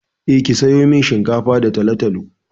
Eh, ki sayo min shinkafa da talo-talo.